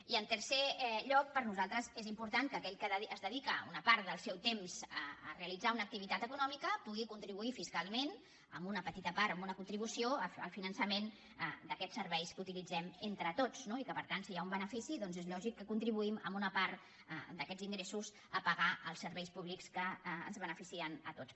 i en tercer lloc per nosaltres és important que aquell que dedica una part del seu temps a realitzar una activitat econòmica pugui contribuir fiscalment amb una petita part amb una contribució al finançament d’aquests serveis que utilitzem entre tots no i que per tant si hi ha un benefici doncs és lògic que contribuïm amb una part d’aquests ingressos a pagar els serveis públics que ens beneficien a tots